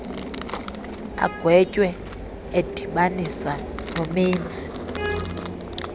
agwetywe edibanisa nomenzi